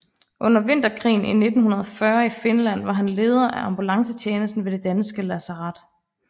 Under Vinterkrigen 1940 i Finland var han leder af ambulancetjenesten ved det danske lazaret